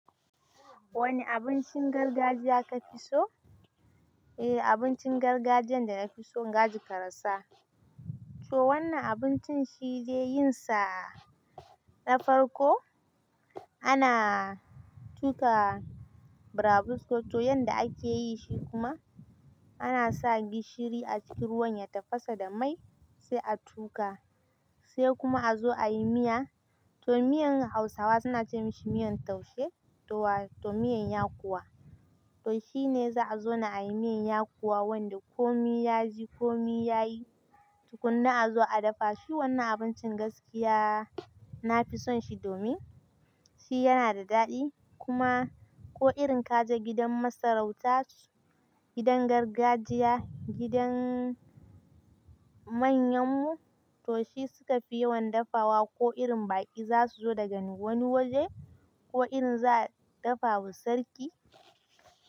Wane abincin gargajiya ka fi so? Eh abincin gargajiyan da na fi so gajir karasa. So wannan abincin shi ne yin sa na farko ana tuƙa braafus to yanda ake yi shi kuma ana sa gishiri a cikin ruwan ya tafasa da mai sai a tuƙa sai kuma a zo ayi miya. To miyan Hausawa suna ce mashi miyan taushe to wa to miyan yakowa. To shi ne za a zo na ayi miyan yakowa wanda ko mi yaji ko mi yayi tukuna a zo a daffa shi. Wannan abincin gaskiya na fi son shi domin shi yana da daɗi kuma ko irin kaje gidan masarauta, gidan gargajiya, gidan manyan mu to shi suka fi yawan daffawa ko irin baki za su zo daga wani waje ko irin za a daffawa sarki.